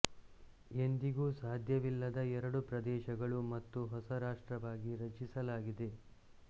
ಎಂದಿಗೂ ಸಾಧ್ಯವಿಲ್ಲದ ಎರಡು ಪ್ರದೇಶಗಳು ಮತ್ತು ಹೊಸ ರಾಷ್ಟ್ರವಾಗಿ ರಚಿಸಲಾಗಿದೆ